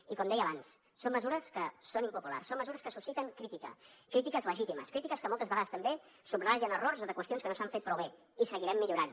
i com deia abans són mesures que són impopulars són mesures que susciten crítica crítiques legítimes crítiques que moltes vegades també subratllen errors de qüestions que no s’han fet prou bé i hi seguirem millorant